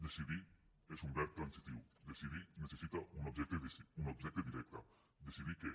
decidir és un verb transitiu decidir necessita un objecte directe decidir què